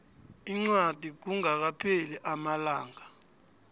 incwadi kungakapheli amalanga